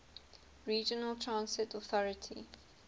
regional transit authority